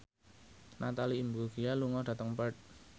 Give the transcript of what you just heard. Natalie Imbruglia lunga dhateng Perth